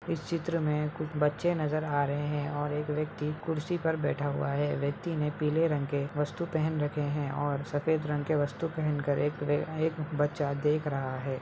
इस चित्र में बच्चे नज़र आ रहे हैं और एक यक्ति कुर्सी पे बैठा हुआ है व्यक्ति ने पीले रंग के वस्तु पहन रखे हैं और सफ़ेद रंग का वस्तु पहन कर एक बच्चा देख रहा है।